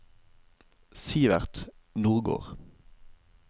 Sivert Nordgård